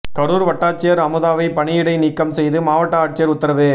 கரூர் வட்டாட்சியர் அமுதாவை பணியிடை நீக்கம் செய்து மாவட்ட ஆட்சியர் உத்தரவு